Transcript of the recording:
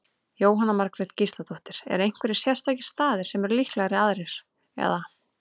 Jóhanna Margrét Gísladóttir: Eru einhverjir sérstakir staðir sem eru líklegri aðrir, eða?